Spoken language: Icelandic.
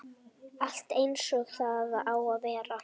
Allt eins og það á að vera